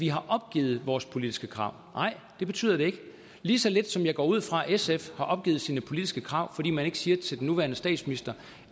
vi har opgivet vores politiske krav nej det betyder det ikke lige så lidt som jeg går ud fra at sf har opgivet sine politiske krav fordi man ikke siger til den nuværende statsminister